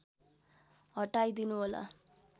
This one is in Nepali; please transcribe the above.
हटाइदिनु होला